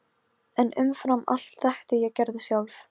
Skiljið þið ekki að ríkisráð Noregs hefur verið leyst upp!